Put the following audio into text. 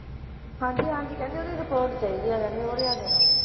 ਹਾਂਜੀ ਹਾਂਜੀ ਕਹਿੰਦੇ ਓਹਦੀ report ਚਾਹੀਦਾ ਆ ਕਹਿੰਦੇ ਉਹ ਲਿਆ ਕੇ ਦਓ